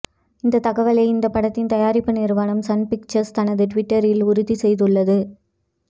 இந்த தகவலை இந்த படத்தின் தயாரிப்பு நிறுவனம் சன்பிக்சர்ஸ் தனது டுவிட்டரில் உறுதி செய்துள்ளது